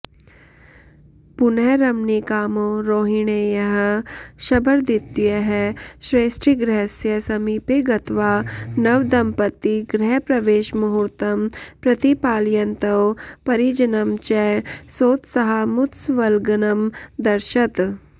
पुनः रमणीकामो रौहिणेयः शबरद्वितीयः श्रेष्ठिगृहस्य समीपे गत्वा नवदम्पती गृहप्रवेशमुहूर्तं प्रतिपालयन्तौ परिजनं च सोत्साहमुत्सवलग्नमदर्शत्